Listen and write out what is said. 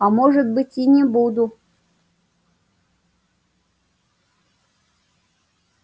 а может быть и не буду